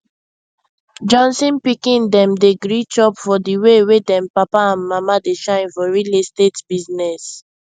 johnson pikin dem dey gree chop for di way wey dem papa and mama dey shine for real estate business